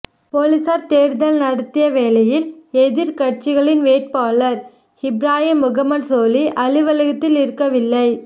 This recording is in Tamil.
பொலிஸார் தேடுதல் நடத்திய வேளையில் எதிர்க்கட்சிகளின் வேட்பாளர் இப்ராஹிம் முகமட் சோலி அலுவலகத்தில் இருக்கவில்லை